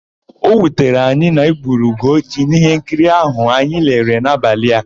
O wutere anyị na-egburu Ugochi n'íhénkiri áhụ̀ anyị lere n'abalị.